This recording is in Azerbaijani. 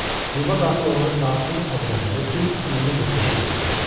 Kluba daxil olanda saatın əqrəbləri düz 20:45-i göstərirdi.